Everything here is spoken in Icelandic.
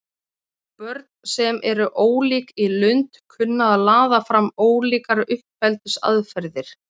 börn sem eru ólík í lund kunna að laða fram ólíkar uppeldisaðferðir